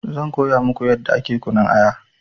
Zan koya muku yadda ake kunun aya